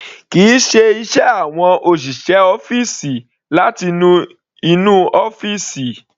Kìí ṣe iṣẹ́ àwọn òṣìṣẹ́ ọ́fìsì láti nu inú ọ́fìsì.